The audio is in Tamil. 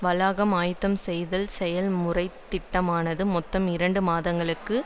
வளாகம் ஆயத்தம் செய்தல் செயல்முறைத்திட்டமானது மொத்தம் இரண்டு மாதங்களுக்கு